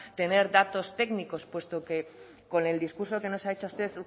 tener datos técnicos puesto que con el discurso que nos ha hecho usted